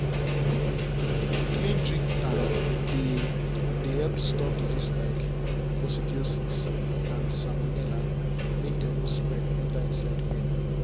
clean drink tank dey dey help to stop disease like coccidiosis and salmonella make them no spread enter inside pen.